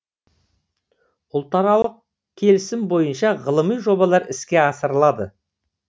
ұлтаралық келісім бойынша ғылыми жобалар іске асырылады